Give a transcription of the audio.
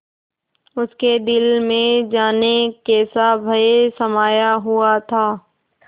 उसके दिल में जाने कैसा भय समाया हुआ था